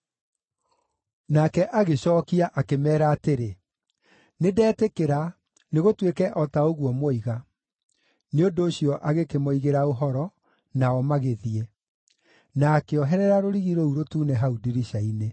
Nake agĩcookia, akĩmeera atĩrĩ, “Nĩndetĩkĩra; nĩgũtuĩke o ta ũguo mwoiga.” Nĩ ũndũ ũcio agĩkĩmoigĩra ũhoro, nao magĩthiĩ. Na akĩoherera rũrigi rũu rũtune hau ndirica-inĩ.